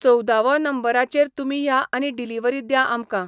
चोवदावो नंबराचेर तुमी या आनी डिलिवरी द्या आमकां.